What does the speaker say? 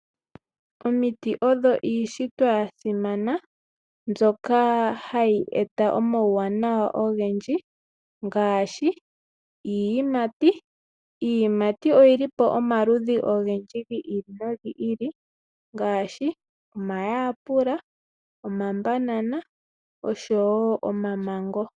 Omiti oyo iishitwa yasimana mbyoka hayi e ta omauwanawa ogendji ngaashi iiyimati. Iiyimati oyili po omaludhi ogendji gi ili nogi ili ngaashi omayapela, omabanana osho woo omamango.